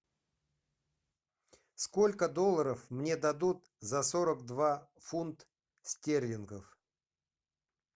сколько долларов мне дадут за сорок два фунт стерлингов